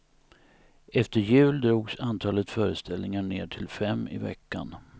Efter jul drogs antalet föreställningar ner till fem i veckan.